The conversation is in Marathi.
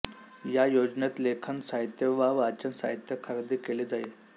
या योजनेत लेखन साहित्य व वाचन साहित्य खरेदी केले जाई